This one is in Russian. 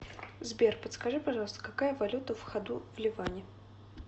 сбер подскажи пожалуйста какая валюта в ходу в ливане